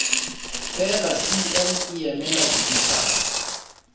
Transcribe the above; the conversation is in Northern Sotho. fela cm di emela dimetara